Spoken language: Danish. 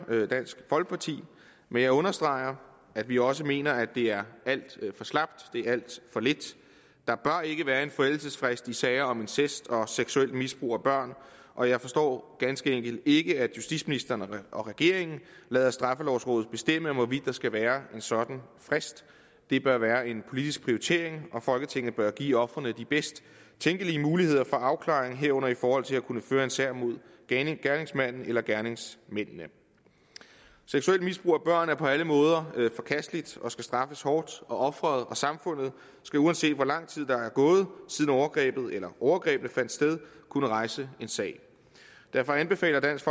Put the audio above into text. dansk folkeparti men jeg understreger at vi også mener at det er alt for slapt det er alt for lidt der bør ikke være en forældelsesfrist i sager om incest og seksuelt misbrug af børn og jeg forstår ganske enkelt ikke at justitsministeren og regeringen lader straffelovrådet bestemme hvorvidt der skal være en sådan frist det bør være en politisk prioritering og folketinget bør give ofrene de bedst tænkelige muligheder for afklaring herunder i forhold til at kunne føre en sag imod gerningsmanden eller gerningsmændene seksuelt misbrug af børn er på alle måder forkasteligt og skal straffes hårdt og offeret og samfundet skal uanset hvor lang tid der er gået siden overgrebet eller overgrebene fandt sted kunne rejse en sag derfor anbefaler dansk